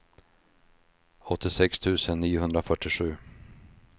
åttiosex tusen niohundrafyrtiosju